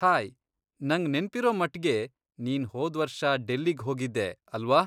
Hi, ನಂಗ್ ನೆನ್ಪಿರೋ ಮಟ್ಗೆ ನೀನ್ ಹೋದ್ವರ್ಷ ಡೆಲ್ಲಿಗ್ ಹೋಗಿದ್ದೆ, ಅಲ್ವಾ?